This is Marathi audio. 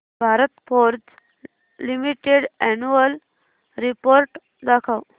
Bharat forge limited annual report दाखव